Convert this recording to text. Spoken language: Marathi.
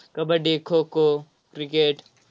कबड्डी, खो-खो, cricket